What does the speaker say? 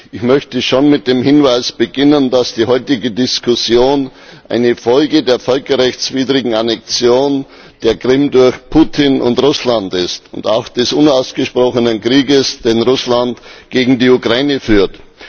Ich möchte schon mit dem Hinweis beginnen, dass die heutige Diskussion eine Folge der völkerrechtswidrigen Annexion der Krim durch Putin und Russland ist und auch des unausgesprochenen Krieges, den Russland gegen die Ukraine führt.